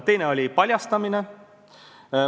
Teine oli paljastamine.